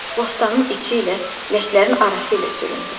Bostanın içi ilə ləklərin arası ilə süründüm.